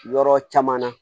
Yɔrɔ caman na